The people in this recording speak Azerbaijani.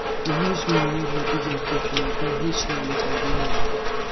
O yüz minlərlə digər tülkülərdən heç nə ilə fərqlənmirdi.